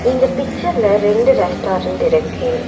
இந்த பிச்சர்ல ரெண்டு ரெஸ்டாரன்ட் இருக்கு.